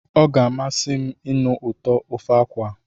Ọ ga-amasị m ịnụ ụtọ nke ofe akwu a.